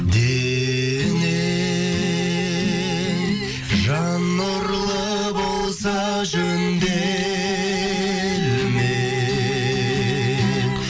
денең жан нұрлы болса жөнделмек